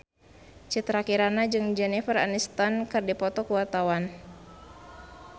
Citra Kirana jeung Jennifer Aniston keur dipoto ku wartawan